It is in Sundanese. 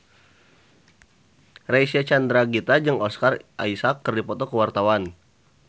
Reysa Chandragitta jeung Oscar Isaac keur dipoto ku wartawan